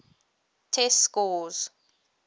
test scores